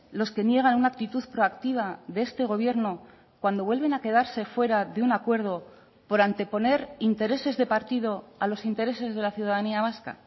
los que niegan una actitud proactiva de este gobierno cuando vuelven a quedarse fuera de un acuerdo por anteponer intereses de partido a los intereses de la ciudadanía vasca